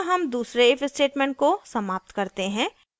यहाँ हम दूसरे if statement को समाप्त करते हैं